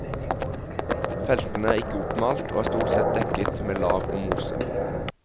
Feltene er ikke oppmalt og er stort sett dekket med lav og mose.